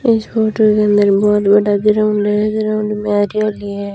इस फोटो के अंदर बहोत बड़ा ग्राउंड है ग्राउंड में है।